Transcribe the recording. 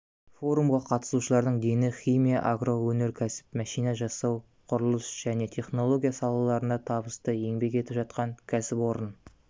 форумға қатысушылардың дені химия агроөнеркәсіп машина жасау құрылыс және технология салаларында табысты еңбек етіп жатқан кәсіпорын